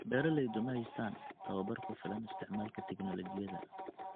Beeraleydu ma haystaan ??tababar ku filan isticmaalka tignoolajiyada.